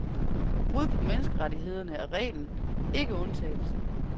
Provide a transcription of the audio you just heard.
Brud på menneskerettighederne er reglen, ikke undtagelsen.